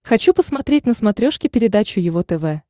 хочу посмотреть на смотрешке передачу его тв